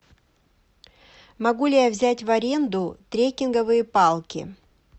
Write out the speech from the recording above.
могу ли я взять в аренду трекинговые палки